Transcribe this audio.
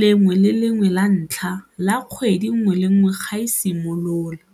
lengwe le lengwe la ntlha la kgwedi nngwe le nngwe ga e simolola.